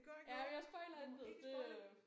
Jamen jeg spoiler intet det øh